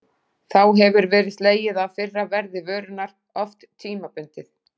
Þá hefur verið slegið af fyrra verði vörunnar, oft tímabundið.